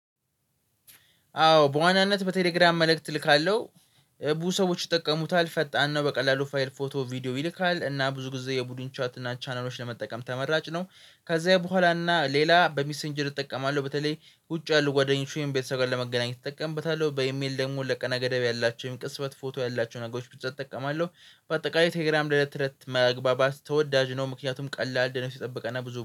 አዎ በዋናነት በቴሌግራም መልእክት እልካለሁ። ብዙ ሰዎች ይጠቀሙታል። ፈጣን ነው በቀላሉ ፋይል፣ ፎቶ፣ ቪዲዮ ይልካል። እና ብዙ ጊዜ የቡድን ቻት እና ቻናሎች ለመጠቀም ተመራጭ ነው። ከዛ በኋላ እና ሌላ በሚሰንጀር እጠቀማለሁ። በተለይ ውጭ ያለው ጓደኞች ወይም ቤተሰብ ጋር ለመገናኘት እጠቀምበታለሁ። በኢሜል ደግሞ ለቀነ ገደብ ያላቸውን ቅጽበት ፎቶ ያላቸውን ነገሮች ብቻ እጠቀማለሁ። በአጠቃላይ ቴሌግራም ለእለት እለት መግባባት ተወዳጅ ነው። ምክንያቱም ቀላልነቱ የተጠብቀና ብዙ